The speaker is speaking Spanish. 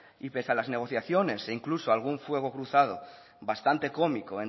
y pese a las negociaciones e incluso algún fuego cruzado bastante cómico